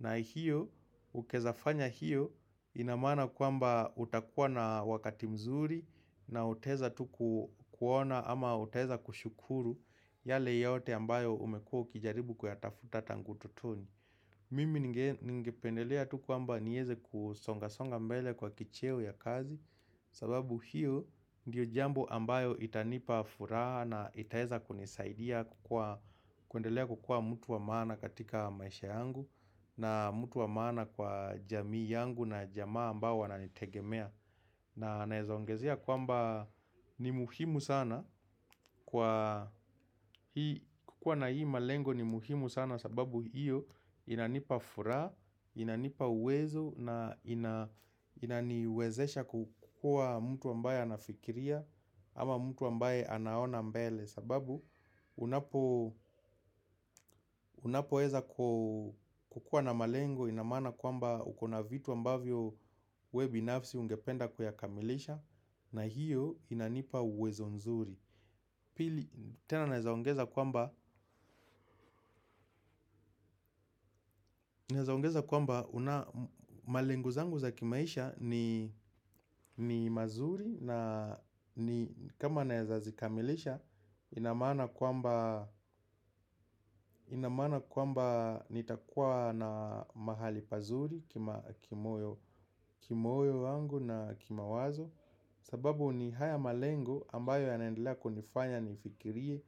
na hiyo ukiezafanya hiyo ina maana kwamba utakuwa na wakati mzuri na utaweza tu ku kuona ama utaweza kushukuru yale yote ambayo umekuwa ukijaribu kuyatafuta tangu utotoni. Mimi ni ngependelea tu kwamba nieze kusonga songa mbele kwa kicheo ya kazi sababu hiyo ndiyo jambo ambayo itanipa furaha na itaeza kunisaidia kukua kuendelea kukua mtu wa maana katika maisha yangu na mtu wa maana kwa jamii yangu na jamaa ambao wananitegemea na naweza ongezea kwamba ni muhimu sana kukua na hii malengo ni muhimu sana sababu hiyo inanipa furaha, inanipa uwezo na inaniwezesha kukua mtu ambaye anafikiria ama mtu ambaye anaona mbele sababu unapoweza kukuwa na malengo ina maana kwamba ukona vitu ambavyo we binafsi ungependa kuyakamilisha na hiyo inanipa uwezo nzuri Pili tena naezaongeza kwamba Naezaongeza kwamba malengo zangu za kimaisha ni mazuri na kama naeza zikamilisha ina maana kwamba ina maana kwamba nitakuwa na mahali pazuri Kimoyo wangu na kimawazo sababu ni haya malengo ambayo yanaendelea kunifanya nifikirie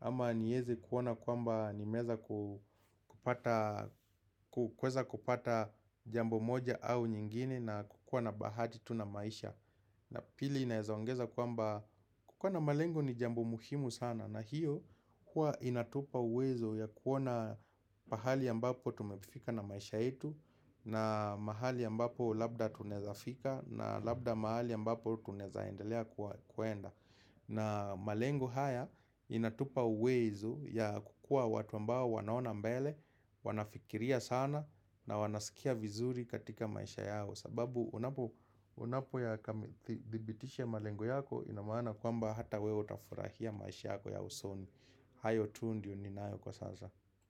ama nieze kuoana kwamba nimeweza kupata jambo moja au nyingine na kukuwa na bahati tu na maisha na pili inaeza ongeza kwamba kukuwa na malengo ni jambo muhimu sana na hiyo huwa inatupa uwezo ya kuoana pahali ambapo tumefika na maisha yetu na mahali ambapo labda tunawezafika na labda mahali ambapo tunawezaendelea kuenda na malengo haya inatupa uwezo ya kukua watu ambao wanaona mbele, wanafikiria sana na wanasikia vizuri katika maisha yao sababu unapo ya thibitisha malengo yako ina maana kwamba hata wewe utafurahia maisha yako ya usoni hayo tu ndio ninayo kwa sasa.